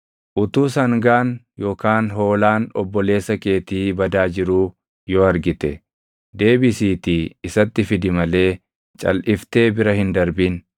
Utuu sangaan yookaan hoolaan obboleessa keetii badaa jiruu yoo argite, deebisiitii isatti fidi malee calʼiftee bira hin darbin.